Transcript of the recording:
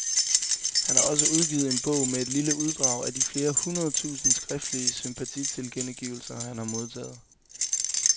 Han har også udgivet en bog med et lille uddrag af de flere hundrede tusinder skriftlige sympatitilkendegivelser, han har modtaget.